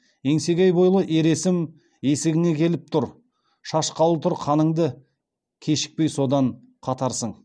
еңсегей бойлы ер есім есігіңе келіп тұр шашқалы тұр қаныңды кешікпей содан қатарсың